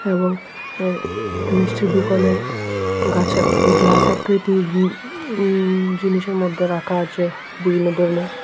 এবং এ মিষ্টির দোকানের গাছার গ্লাস আর দই দিয়ে উম উমম জিনিসের মধ্যে রাখা আছে বিভিন্ন ধরনের।